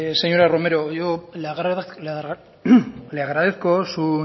señora romero yo le agradezco su